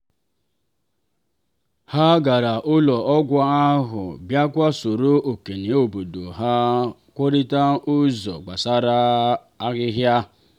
ha gara ụlọ ọgwụ ahụ bịakwa soro okenye obodo ha kwurịta ụzọ gbasara ahịhịa.